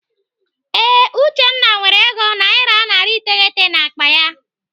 Ee, Uchenna nwere ego naira narị iteghete n'akpa ya.